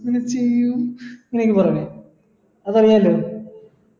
നീ ചെയ്യൂ ന്നക്കെ പറയണെ അതെങ്ങനിണ്ട്